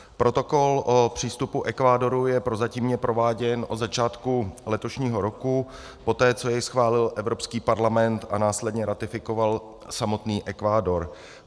Protokol o přístupu Ekvádoru je prozatímně prováděn od začátku letošního roku, poté co jej schválil Evropský parlament a následně ratifikoval samotný Ekvádor.